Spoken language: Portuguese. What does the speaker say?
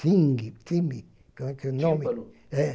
como é que é o nome? Tímpano